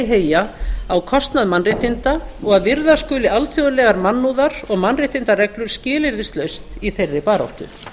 heyja á kostnað mannréttinda og að virða skuli alþjóðlegar mannúðar og mannréttindareglur skilyrðislaust í þeirri baráttu